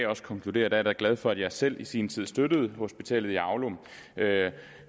konkludere da er glad for at jeg selv i sin tid støttede hospitalet i aulum